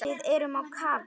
Við erum á kafi.